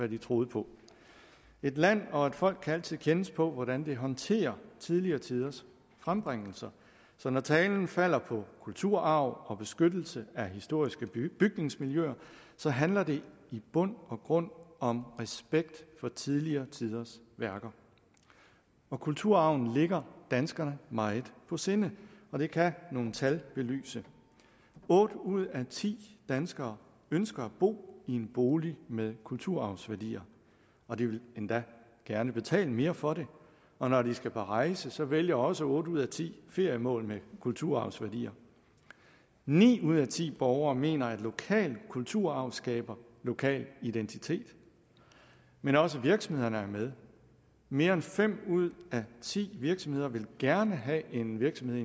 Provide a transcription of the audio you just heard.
de troede på et land og et folk kan altid kendes på hvordan det håndterer tidligere tiders frembringelser så når talen falder på kulturarv og beskyttelse af historiske bygningsmiljøer så handler det i bund og grund om respekt for tidligere tiders værker kulturarven ligger danskerne meget på sinde og det kan nogle tal belyse otte ud af ti danskere ønsker at bo i en bolig med kulturarvsværdier og de vil endda gerne betale mere for det og når de skal ud at rejse så vælger også otte ud af ti feriemål med kulturarvsværdier ni ud af ti borgere mener at lokal kulturarv skaber lokal identitet men også virksomhederne er med mere end fem ud af ti virksomheder vil gerne have en virksomhed